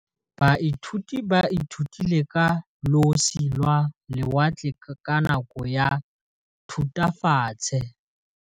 Baithuti ba ithutile ka losi lwa lewatle ka nako ya Thutafatshe.